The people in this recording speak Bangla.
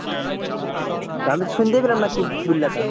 আমি তো শুনতেই পেলাম না কি বুঝলে তো।